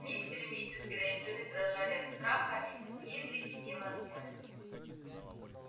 мистер и миссис грэйнджеры дрожали от страха а мисс уизли кипела от ярости